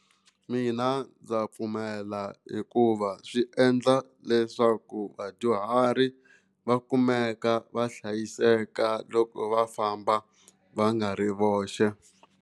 Mina ndza pfumela hikuva swi endla leswaku vadyuhari va kumeka va hlayiseka loko va famba va nga ri voxe.